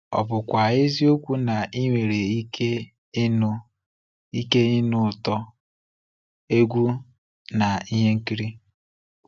Ọ bụkwa eziokwu na i nwere ike ịnụ ike ịnụ ụtọ egwu na ihe nkiri.